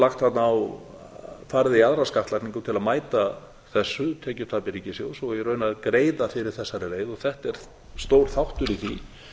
lagt þarna á farið í aðra skattlagningu til að mæta þessu tekjutapi ríkissjóðs og í raun að greiða fyrir þessari leið og þetta er stór þáttur í því